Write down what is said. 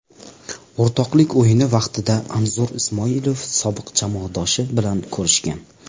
O‘rtoqlik o‘yini vaqtida Anzur Ismoilov sobiq jamoadoshi bilan ko‘rishgan.